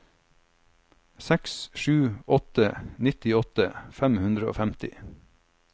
seks sju åtte en nittiåtte fem hundre og femti